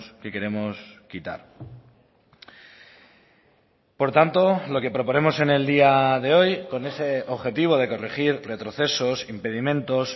que queremos quitar por tanto lo que proponemos en el día de hoy con ese objetivo de corregir retrocesos impedimentos